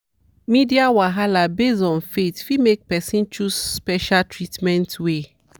media wahala based on faith fit make person choose special treatment way.